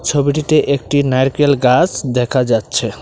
ছবিটিতে একটি নারকেল গাছ দেখা যাচ্ছে।